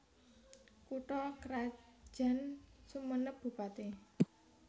Kutha krajan SumenepBupati